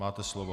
Máte slovo.